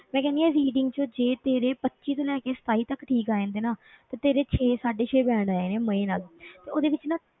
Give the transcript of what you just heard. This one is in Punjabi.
ਮੈਂ ਕਹਿੰਦੀ ਹਾਂ reading 'ਚ ਜੇ ਤੇਰੇ ਪੱਚੀ ਤੋਂ ਲੈ ਕੇ ਸਤਾਈ ਤੱਕ ਠੀਕ ਆ ਜਾਂਦੇ ਆ ਨਾ ਤੇ ਤੇਰੇ ਛੇ ਸਾਢੇ ਛੇ band ਆ ਜਾਣੇ ਆਂ ਮਜ਼ੇ ਨਾਲ ਤੇ ਉਹਦੇ ਵਿੱਚ ਨਾ,